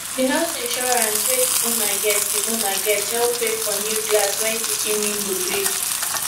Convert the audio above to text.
the house insurance wey the owner get the owner get help pay for new glass when kitchen window break